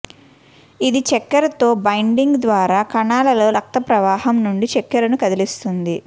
ఇది చక్కెరతో బైండింగ్ ద్వారా కణాలలో రక్తప్రవాహం నుండి చక్కెరను కదిస్తుంది